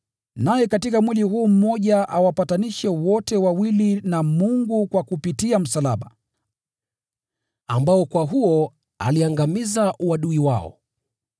naye katika mwili huu mmoja awapatanishe wote wawili na Mungu kupitia msalaba, ili kwa huo msalaba akaangamiza uadui wao.